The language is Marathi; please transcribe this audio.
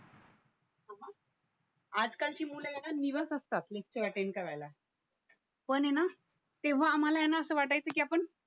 आजकालची मुल हाय ना निवस असतात लेक्चर अटेंड करायला पण आहे ना तेव्हा आम्हाला आहे ना असं वाटायचं की आपण